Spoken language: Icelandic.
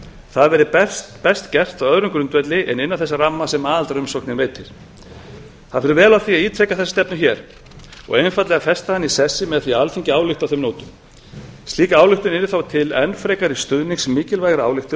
það verður best gert á öðrum grundvelli en innan þess ramma sem aðildarumsóknin veitir það fer vel á því að ítreka þessa stefnu hér og einfaldlega festa hana í sessi með því að alþingi álykti á þeim nótum slík ályktun yrði þá til enn frekari stuðnings mikilvægrar ályktunar